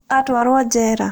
Atwarũo Njera?